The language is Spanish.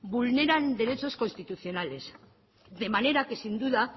vulneran derechos constitucionales de manera que sin duda